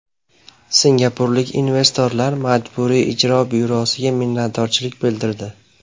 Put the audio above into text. Singapurlik investorlar Majburiy ijro byurosiga minnatdorchilik bildirdi.